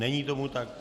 Není tomu tak.